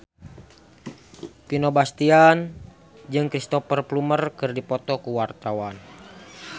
Vino Bastian jeung Cristhoper Plumer keur dipoto ku wartawan